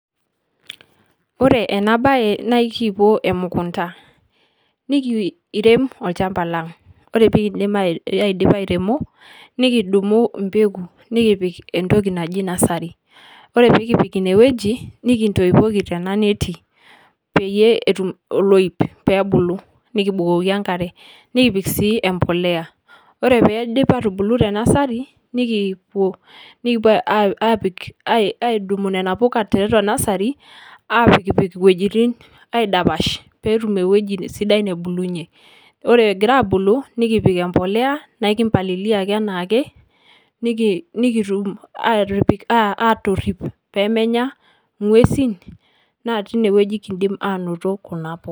Ore ena baye nae kipuo emukunda nikiirem olchamba lang', ore pee kiindip airemo nekidumu empegu nekipik entoki naji nasari, ore pee kipik ine wueji nekintoipoki tena neti peyie etum oloip peebulu, nekibukoki enkare nakipik sii embolea. Ore peeidip aatubulu te nasari, nekiipuo nekipuo aa aapik ai aidumu nena puka tiatua nasari aapikpik iwojitin aidapash peetum ewoji sidai nebulunye. Ore egira aabulu nekipik embolea nae kimpalilia ake enaa ake niki nikitum aatipik aatorip pee menya ng'uesin natii ine wueji kiidim anoto kuna puka.